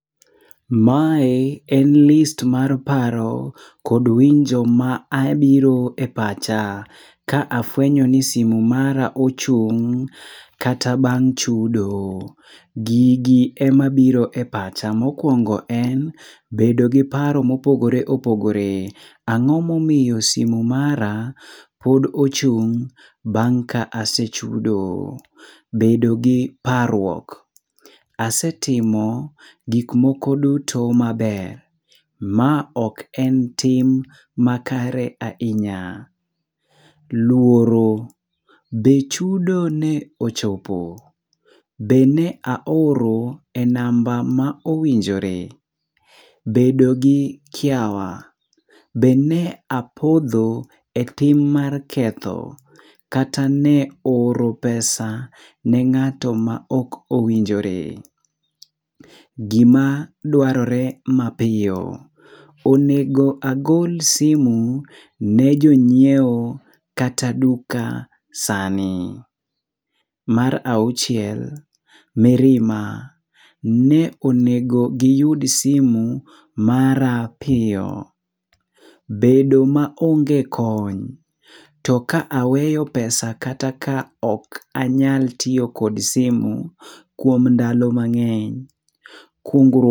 Mae en list mar paro kod winjo ma abiro e pacha ka afuenyo ni simu mara ochung' kata bang' chudo. Gigi emabiro epacha. Mokuongo en bedo gi paro mopogore opogore. Ang'o momiyo simu mara pod ochung' bang ka ase chudo. Bedo gi parruok. Asetimo gik moko duto maber. Ma ok en tim makare ahinya. Luoro. Be chudo ne ochopo. Be ne aoro e namba ma owinjore. Bedo gi kiawa. Be ne apodho e tim mar ketho. Kata ne oro pesa ne ng'ato ma ok owinjore. Gima dwarore mapiyo. Onego agol simu ni jong'iewo kata duka sani. Mar auchiel, mirima. Ne onego giyud simu mara piyo. Bedo maonge kony. To ka aweyo pesa kata ka ok anyal tiyo kod simu kuom ndalo mang'eny. Kungr..